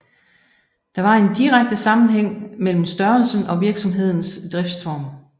Der var en direkte sammenhæng mellem størrelsen og virksomhedens driftsform